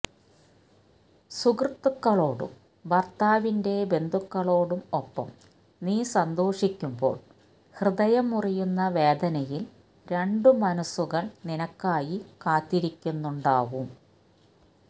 സുഹൃത്തുക്കളോടും ഭർത്താവിന്റെ ബന്ധുക്കളോടും ഒപ്പം നീ സന്തോഷിക്കുമ്പോൾ ഹൃദയം മുറിയുന്ന വേദനയിൽ രണ്ടു മനസുകൾ നിനക്കായി കാത്തിരിക്കുന്നുണ്ടാവും